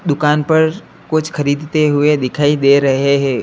दुकान पर कुछ खरीदते हुए दिखाई दे रहे हैं।